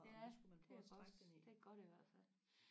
ja det er godt i hvert fald